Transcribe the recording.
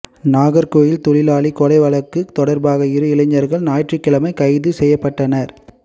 நாகா்கோவில் தொழிலாளி கொலை வழக்கு தொடா்பாக இரு இளைஞா்கள் ஞாயிற்றுக்கிழமை கைது செய்யப்பட்டனா்